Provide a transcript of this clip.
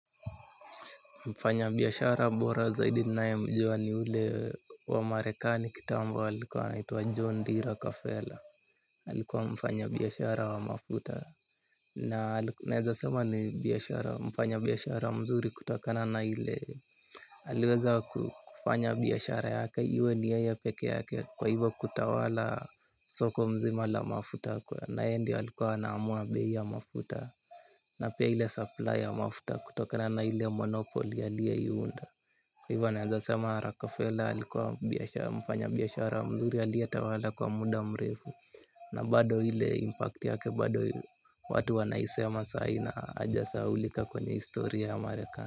Mfanyabiashara bora zaidi ninayemjua ni ule wa marekani kitambo alikuwa anaitwa John D rockefeller. Alikuwa mfanyabiyashara wa mafuta. Na naeza sema ni biashara mfanyabiashara mzuri kutokana na ile aliweza kufanya biashara yake iwe ni yeye pekee yake kwa hivyo kutawala soko mzima la mafuta kwa naye ndio alikuwa anaamua bei ya mafuta. Na pia ile supply mafuta kutokana na ile monopoly aliyoiunda. Kwa hivyo naeza sema Rockefeller alikuwa mfanyabiashara mzuri aliyetawala kwa muda mrefu. Na bado ile impact yake bado watu wanaisema saa hii na hajasahaulika kwenye historia ya mareka.